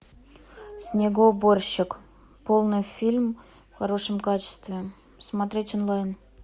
снегоуборщик полный фильм в хорошем качестве смотреть онлайн